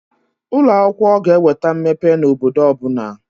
Ụloakwụkwọ ga-eweta mmepe n'obodo ọbụna.